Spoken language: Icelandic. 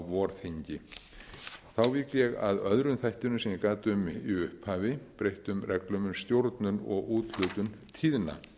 vorþingi þá vík ég að öðrum þættinum sem ég gat um í upphafi breyttum reglum um stjórnun og úthlutun tíðna